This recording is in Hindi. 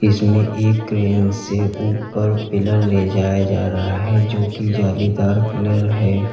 इसमें एक क्रेन से ऊपर पीलर ले जाया जा रहा है जो की जालीदार पिलर है।